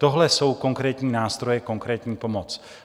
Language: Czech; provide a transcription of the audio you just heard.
Tohle jsou konkrétní nástroje, konkrétní pomoc.